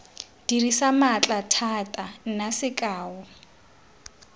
dirisa maatla thata nna sekao